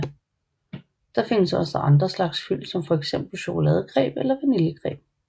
Der findes også andre slags fyld som for eksempel chokoladecreme eller vaniljecreme